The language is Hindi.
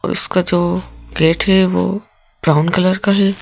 और उसका जो गेट है वो ब्राउन कलर का है।